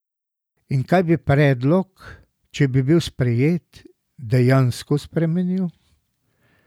In kaj bi predlog, če bi bil sprejet, dejansko spremenil?